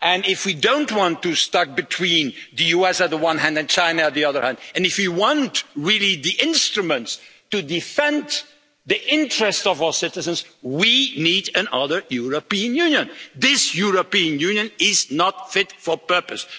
and if we don't want to be stuck between the US at the one hand and China on the other hand, and if we want really the instruments to defend the interests of our citizens, we need another European Union. This European Union is not fit for purpose.